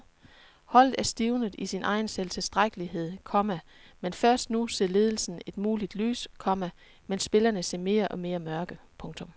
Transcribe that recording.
Holdet er stivnet i sin egen selvtilstrækkelighed, komma men først nu ser ledelsen et muligt lys, komma mens spillerne ser mere og mere mørke. punktum